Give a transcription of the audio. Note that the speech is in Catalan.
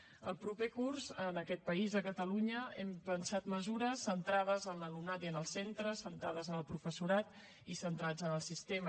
per al proper curs en aquest país a catalunya hem pensat mesures centrades en l’alumnat i en els centres centrades en el professorat i centrades en el sistema